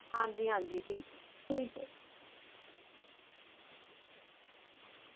ਹਨ ਜੀ ਹਨ ਜੀ ਠੀਕ ਹੈ ਠੀਕ ਹੈ